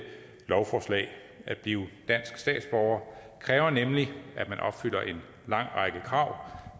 lovforslag at blive dansk statsborger kræver nemlig at man opfylder en lang række krav